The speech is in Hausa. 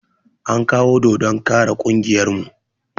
An kawo dodon kara ƙungiyar mu